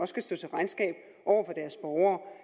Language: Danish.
skal stå til regnskab over